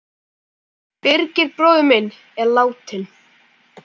Birgir bróðir minn er látinn.